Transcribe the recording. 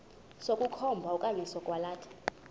sokukhomba okanye sokwalatha